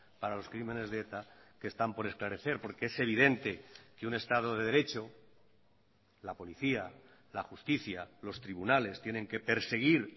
para los crímenes de eta que están por esclarecer porque es evidente que un estado de derecho la policía la justicia los tribunales tienen que perseguir